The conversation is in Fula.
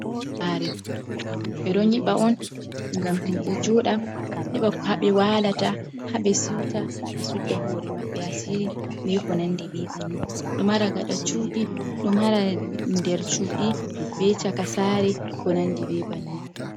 Saare, ɓe ɗo nyiɓa on ngam himɓe joɗa heɓa ko haa ɓewalata haa ɓe siuta ɓe sudda hoore maɓɓe asiri, be ko nandi be bannin. Ɗo mara gada cuɗi, ɗo mara nder cuɗi be caka saare, be ko nandi be bannin.